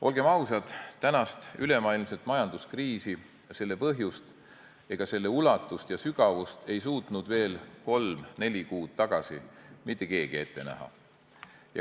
Olgem ausad, tänast ülemaailmset majanduskriisi, selle põhjust ega selle ulatust ja sügavust ei suutnud veel kolm-neli kuud tagasi mitte keegi ette näha.